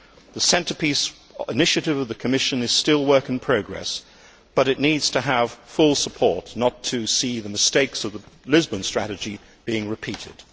The centrepiece initiative of the Commission is still work in progress but it needs to have full support not to see the mistakes of the Lisbon Strategy being repeated.